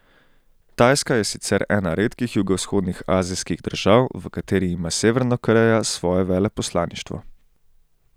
Tajska je sicer ena redkih jugovzhodnih azijskih držav, v kateri ima Severna Koreja svoje veleposlaništvo.